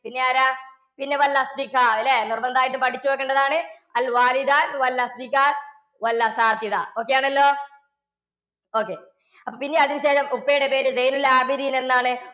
ഇനിയാരാ? അല്ലേ? നിര്‍ബന്ധമായിട്ടും പഠിച്ചു വെക്കേണ്ടതാണ് Okay ആണല്ലോ? Okay. പിന്നെ അതിന്‍ടെ ശേഷം ഉപ്പയുടെ പേരു സൈനുലാബ്ദ്ദീന്‍ എന്നാണ്.